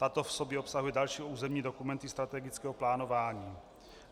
Tato v sobě obsahuje další územní dokumenty strategického plánování.